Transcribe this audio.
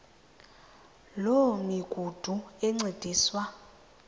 loo migudu encediswa